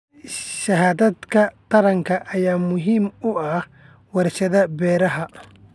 Shahaadada taranka ayaa muhiim u ah warshadaha beeraha.